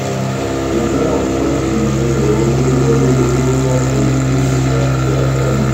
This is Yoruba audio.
ìpín àkáǹtì ìṣirò owó wọlé owó jáde èrè àti àdánù